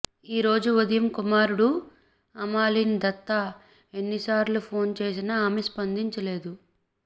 ఈరోజు ఉదయం కుమారుడు అమాలిన్ దత్తా ఎన్నిసార్లు ఫోన్ చేసినా ఆమె స్పందించలేదు